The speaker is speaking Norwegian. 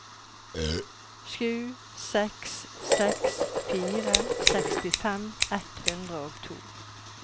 sju seks seks fire sekstifem ett hundre og to